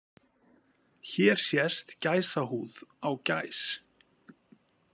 Hér sést gæsahúð á gæs.